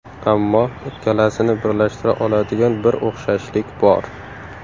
Ammo ikkalasini birlashtira oladigan bir o‘xshashlik bor.